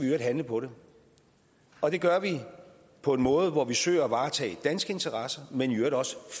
øvrigt handle på det og det gør vi på en måde hvor vi søger at varetage danske interesser men i øvrigt også